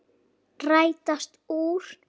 Rætast úr?